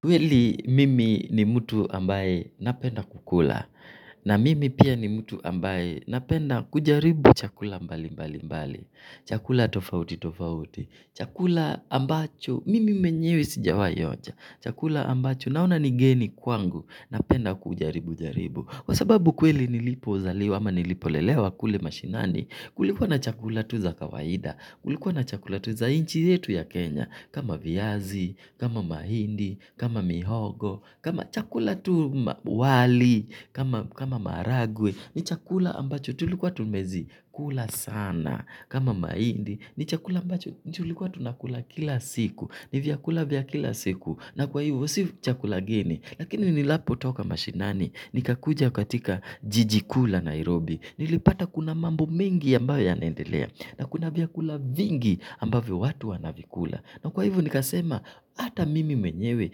Kweli mimi ni mtu ambaye napenda kukula na mimi pia ni mtu ambaye napenda kujaribu chakula mbali mbali mbali, chakula tofauti tofauti, chakula ambacho, mimi mwenyewe sijawai onja chakula ambacho, naona ni geni kwangu, napenda kujaribu jaribu. Kwa sababu kweli nilipozaliwa ama nilipolelewa kule mashinani, kulikuwa na chakula tu za kawaida, kulikuwa na chakula tu za nchi yetu ya Kenya, kama viazi, kama mahindi, kama mihogo, kama chakula tu wali, kama maragwe. Ni chakula ambacho tulikuwa tunazikula sana kama mahindi ni chakula ambacho tulikuwa, tunakula kila siku. Ni vyakula vya kila siku. Na kwa hivyo si chakula geni. Lakini ninapo toka mashinani nikakuja katika jiji kuu la Nairobi. Nilipata kuna mambo mengi ambayo yanaendelea. Na kuna vyakula vingi ambayo watu wanavikula. Na kwa hivo nikasema. Ata mimi menyewe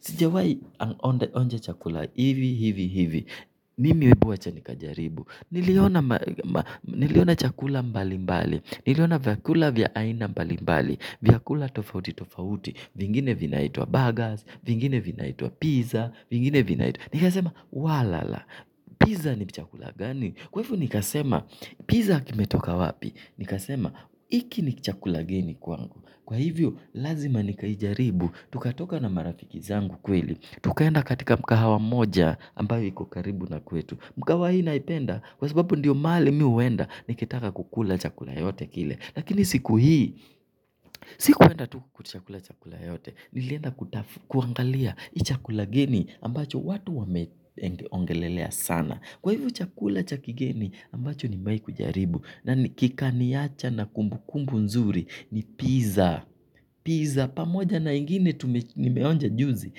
sijawai onja chakula hivi hivi hivi. Mimi ebu wacha nikajaribu. Niliona chakula mbali mbali. Niliona vyakula vya aina mbali mbali vyakula tofauti tofauti. Vingine vinaitwa burgers. Vingine vinaitwa pizza. Vingine vinaitwa nikasema wala la Pizza ni chakula gani. Kwa hivo nikasema pizza kimetoka wapi. Nikasema hiki ni chakula geni kwangu. Kwa hivyo lazima nikaijaribu. Tukatoka na marafiki zangu kweli. Tukaenda katika mkahawa mmoja ambayo iko karibu na kwetu. Mkahawa hii naipenda kwa sababu ndiyo mahali mimi huenda nikitaka kukula chakula yote kile. Lakini siku hii, sikuenda tu kuitisha chakula yoyote. Nilienda kuangalia hii chakula geni ambacho watu wameongelelea sana. Kwa hivo chakula cha kigeni ambacho nimewahi kujaribu. Na kika niacha na kumbukumbu nzuri ni pizza. Pizza pamoja na ingine nimeonja juzi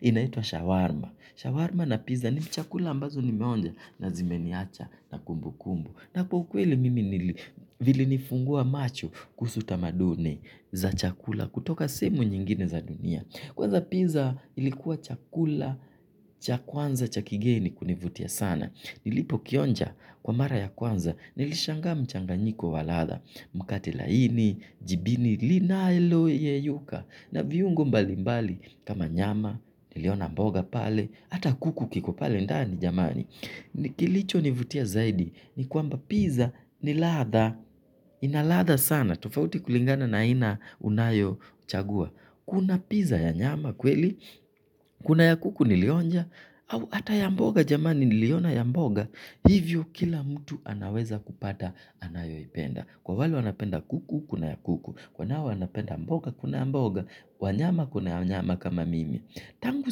inaitwa shawarma. Shawarma na pizza ni chakula ambazo nimeonja na zimeniacha na kumbukumbu. Na kwa ukweli mimi vili nifungua macho kuhusu tamaduni za chakula kutoka sehemu nyingine za dunia. Kwanza pizza ilikuwa chakula, cha kwanza, cha kigeni kunivutia sana. Nilipo kionja kwa mara ya kwanza nilishangaa mchanganyiko wa ladha mkate laini, jibini linaloyeyuka na viungo mbali mbali kama nyama, niliona mboga pale ata kuku kiko pale ndani ni jamani. Kilicho nivutia zaidi. Ni kwamba pizza ni ladha. Inaladha sana. Tofauti kulingana na aina unayo chagua. Kuna pizza ya nyama kweli. Kuna ya kuku nilionja. Au hata ya mboga jamani niliona ya mboga. Hivyo kila mtu anaweza kupata anayoipenda. Kwa wale wanapenda kuku, kuna ya kuku. Kwa wanao wanapenda mboga, kuna mboga. Wanyama, kuna ya nyama kama mimi. Tangu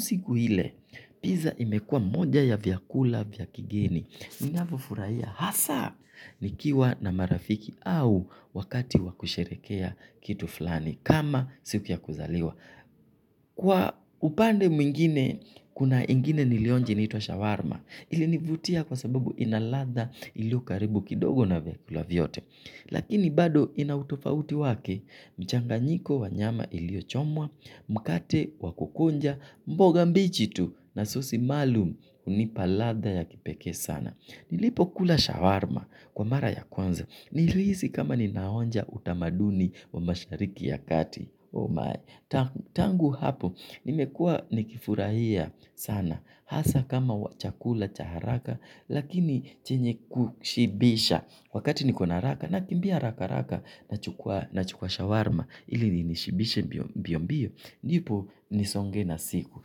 siku ile. Pizza imekuwa moja ya vyakula vya kigeni, ninavyofurahia hasa nikiwa na marafiki au wakati wakusherehekea kitu fulani kama siku ya kuzaliwa. Kwa upande mwingine, kuna ingine nilionja inaitwa shawarma, ilinivutia kwa sababu inaladha iliyo karibu kidogo na vyakula vyote. Lakini bado ina utofauti wake, mchanganyiko wa nyama iliyo chomwa, mkate wakukunja, mboga mbichi tu na sosi maalum hunipa ladha ya kipeke sana. Nilipo kula shawarma kwa mara ya kwanza. Nili hisi kama ninaonja utamaduni wa mashariki ya kati. Tangu hapo, nimekuwa nikifurahia sana. Hasa kama chakula cha haraka lakini chenye kushibisha. Wakati niko na haraka, nakimbia haraka haraka. Nachukua shawarma, ili inishibishe mbio mbio. Ndipo nisonge na siku.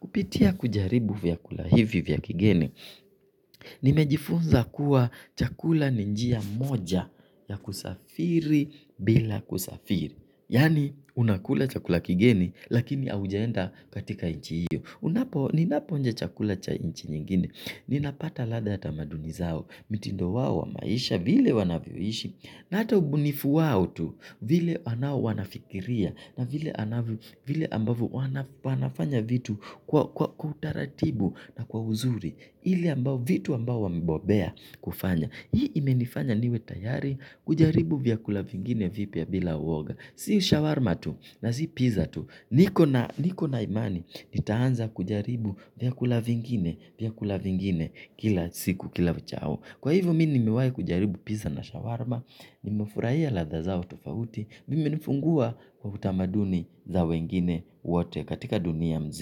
Kupitia kujaribu vyakula hivi vya kigeni. Nimejifunza kuwa chakula ni njia moja ya kusafiri bila kusafiri. Yaani, unakula chakula kigeni, lakini haujaenda katika nchi hiyo. Ninapo onja chakula cha nchi nyingine ninapata ladha tamaduni zao mitindo wao wa maisha, vile wanavyoishi na ata ubunifu wao tu, vile anao wanafikiria na vile ambavyo wanafanya vitu kwa utaratibu na kwa uzuri. Ile ambavyo vitu ambavyo wamebobea kufanya. Hii imenifanya niwe tayari, kujaribu vyakula vingine vipya bila uoga. Si shawarma tu na si pizza tu. Niko na imani nitaanza kujaribu vyakula vingine kila siku kila uchao. Kwa hivyo mimi nimewai kujaribu pizza na shawarma, nimefurahia ladhavzao tofauti. Imenifungua kwa utamaduni za wengine wote katika dunia mzima.